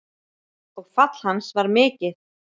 Og fall hans var mikið.